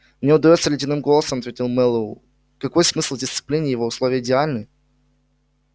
мне удаётся ледяным голосом ответил мэллоу какой смысл в дисциплине если условия идеальны